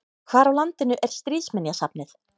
Hvar á landinu er Stríðsminjasafnið?